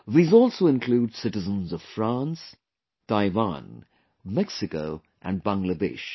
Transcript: These also include citizens of France, Taiwan, Mexico and Bangladesh